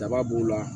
Daba b'o la